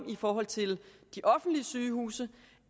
i forhold til de offentlige sygehuse